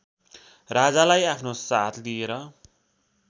राजालाई आफ्नो साथ लिएर